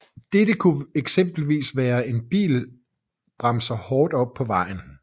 Dette kunne eksempelvis være hvis en bil bremser hårdt op på vejen